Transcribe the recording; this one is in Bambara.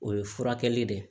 O ye furakɛli de ye